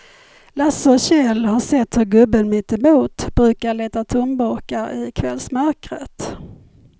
Lasse och Kjell har sett hur gubben mittemot brukar leta tomburkar i kvällsmörkret.